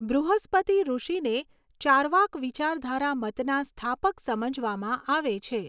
બૃહસ્પતિ ઋષિને ચાર્વાક વિચારધારા મતના સ્થાપક સમજવામાં આવે છે.